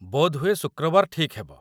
ବୋଧହୁଏ ଶୁକ୍ରବାର ଠିକ୍ ହେବ।